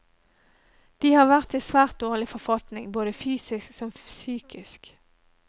De har vært i svært dårlig forfatning, både fysisk som psykisk.